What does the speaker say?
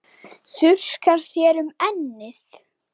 Þurrkar þér um ennið.